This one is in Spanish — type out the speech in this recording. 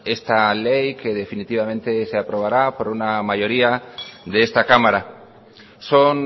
esta ley que definitivamente se aprobará por una mayoría de esta cámara son